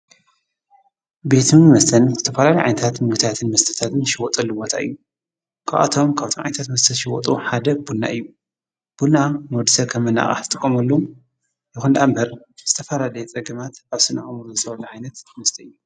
ቤትም መስተን ዘተፈላለዮን ዓይንታትን ምግብታትን ምስተታትን ዝሸወጡ ቦታ እዩ ክብኣቶም ካብቶም ዓይታት መስተ ሽይወጡ ሓደ ቡና እዩ ቡና ንወዲ ሰብ ኸም መናቓቅዝ ዝይጥቆምሉ የኾን ደእምበር ዝተፋረላለዮ ጸግማት ኣብ ስነአእምኡሩኡ ዓይነት ምስተ አዮ።